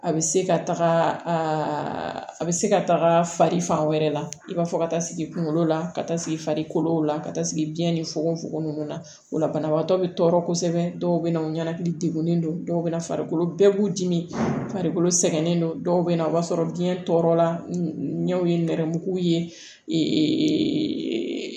A bɛ se ka taga a bɛ se ka taga fari fan wɛrɛ la i b'a fɔ ka taa sigi kunkolo la ka taa sigi farikolo la ka taa sigi biyɛn ni fogofogo ninnu na o la banabagatɔ bɛ tɔɔrɔ kosɛbɛ dɔw bɛ na u ɲɛnakili degunnen don dɔw bɛ na farikolo bɛɛ b'u dimi farikolo sɛgɛnnen do dɔw bɛ na o b'a sɔrɔ biyɛn tɔɔrɔ la ɲɛw ye nɛrɛmugumaw ye